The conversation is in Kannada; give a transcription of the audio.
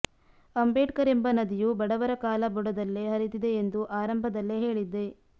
ಅಂಬೇಡ್ಕರ್ ಎಂಬ ನದಿಯು ಬಡವರ ಕಾಲ ಬುಡದಲ್ಲೇ ಹರಿದಿದೆ ಎಂದು ಆರಂಭದಲ್ಲೇ ಹೇಳಿದ್ದೆ